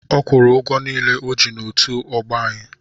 Ọ kwụrụ ụgwọ niile o ji n'otu ọgbọ anyị.